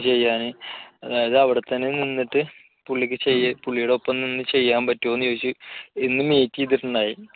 ചെയ്യാന് അത് അവിടെത്തന്നെ നിന്നിട്ട് പുള്ളിക്ക് ചെയ്യാൻ പുള്ളിയുടെ ഒപ്പം നിന്ന് ചെയ്യാൻ പറ്റുമോ എന്ന് ചോദിച്ചു ഇന്ന് meet ചെയ്തിട്ടുണ്ടായി